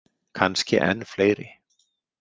Kannski enn fleiri.